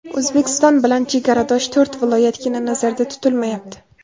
O‘zbekiston bilan chegaradosh to‘rt viloyatgina nazarda tutilmayapti.